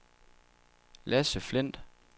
Lasse Flindt